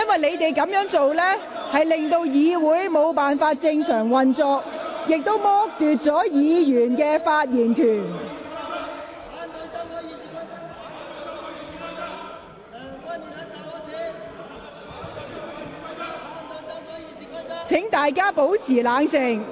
你們這樣做令議會無法正常運作，亦剝奪其他議員的發言權利。